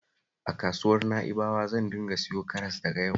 A kasuwar Na'ibawa zan dinga siyo karas daga yau